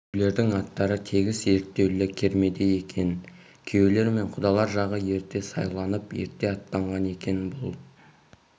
күйеулердің аттары тегіс ерттеулі кермеде екен күйеулер мен құдалар жағы ерте сайланып ерте аттанған екен бұл